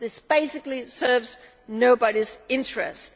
This basically serves nobody's interests.